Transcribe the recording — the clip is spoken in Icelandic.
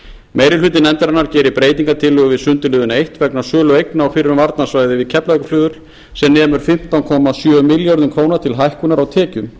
meiri hluti nefndarinnar gerir breytingartillögu við sundurliðun eins vegna sölu eigna á fyrrum varnarsvæði við keflavíkurflugvöll sem nemur fimmtán komma sjö milljörðum króna til hækkunar á tekjum